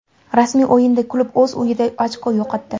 Rasmiy o‘yinda klub o‘z uyida ochko yo‘qotdi.